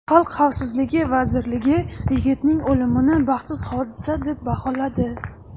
Xalq xavfsizligi vazirligi yigitning o‘limini baxtsiz hodisa deb baholadi.